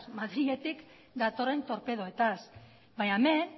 madriletik datorren torpedoetaz baina hemen